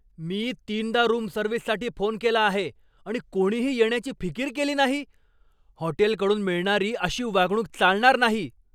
मी तीनदा रूम सर्व्हिससाठी फोन केला आहे, आणि कोणीही येण्याची फिकीर केली नाही! हॉटेलकडून मिळणारी अशी वागणूक चालणार नाही.